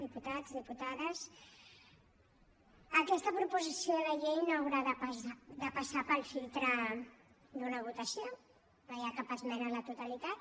diputats diputades aquesta proposició de llei no haurà de passar pel filtre d’una votació no hi ha cap esmena a la totalitat